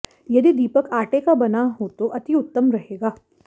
यदि दीपक आटे का बना हो तो अति उतम रहेगा